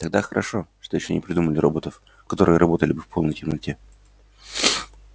тогда хорошо что ещё не придумали роботов которые работали бы в полной темноте